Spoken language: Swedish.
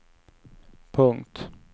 punkt